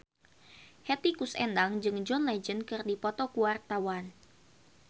Hetty Koes Endang jeung John Legend keur dipoto ku wartawan